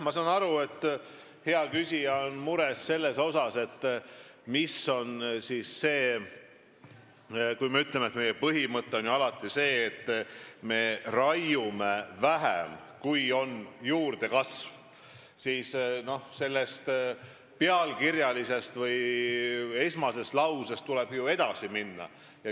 Ma saan aru, et hea küsija on mures, aga kui me ütleme, et meie põhimõte on alati see, et me raiume juurdekasvust vähem, siis tuleb ju sellest pealkirjast või esmasest lausest edasi minna.